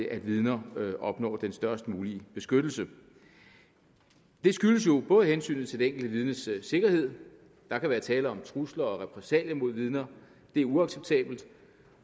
at vidner opnår den størst mulige beskyttelse det skyldes jo både hensynet til det enkelte vidnes sikkerhed der kan være tale om trusler og repressalier mod vidner og det er uacceptabelt